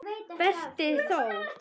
Berti þó!